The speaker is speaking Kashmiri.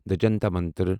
دٕ جنتر منتر